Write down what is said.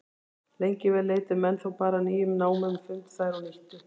Lengi vel leituðu menn þá bara að nýjum námum, fundu þær og nýttu.